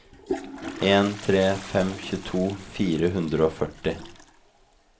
en tre en fem tjueto fire hundre og førti